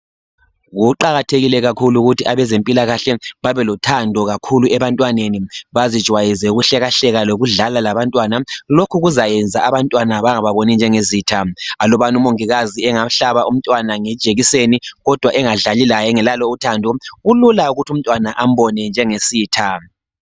Kuqakathekile kakhulu ukuthi abezempilakahle babe lothando kakhulu ebantwini, bazijwayeze ukuhlekahleka lokudlala labantwana, lokhu kuzakwenza abantwana bangababoni njengezitha, alubana umongikazi engahlaba umntwana ngejekiseni kodwa engadlali laye engelalo uthando, kulula ukuthi umntwana ambone njengesitha.